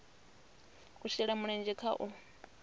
a shele mulenzhe kha u